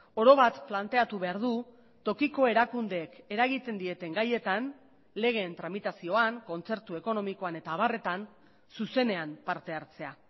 orobat planteatu behar du tokiko erakundeek eragiten dieten gaietan legeen tramitazioan kontzertu ekonomikoan eta abarretan zuzenean parte hartzea